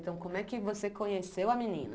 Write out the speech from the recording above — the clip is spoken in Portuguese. Então como é que você conheceu a menina?